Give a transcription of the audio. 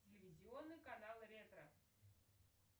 телевизионный канал ретро